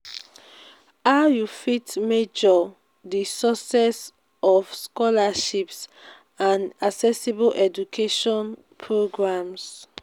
how you fit measure di success of scholarships and accessible education programs?